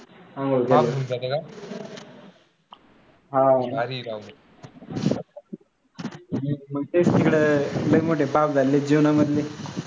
अंघोळ केले हां मग तेच तिकडं लय मोठे पाप झालेत जीवना मधले